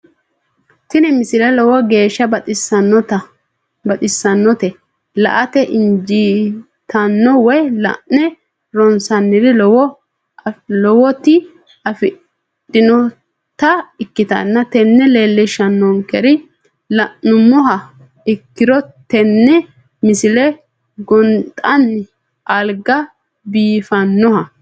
tini misile lowo geeshsha baxissannote la"ate injiitanno woy la'ne ronsannire lowote afidhinota ikkitanna tini leellishshannonkeri la'nummoha ikkiro tini misile gonxxanni alga biifannoho.